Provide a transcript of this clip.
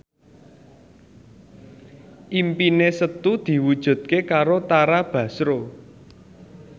impine Setu diwujudke karo Tara Basro